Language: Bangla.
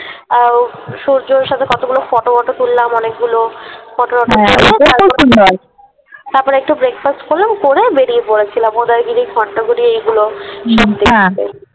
আহ সূর্যোর সাথে কতগুলো ফটো টটো তুললাম অনেকগুলো ফটো টটো তুলে হ্যাঁ তারপরে একটু Breakfast করলাম Breakfast করে বেরিয়ে পড়েছিলাম উদয়গিরি খন্ডগিরি এগুলো হ্যাঁ সব দেখতে।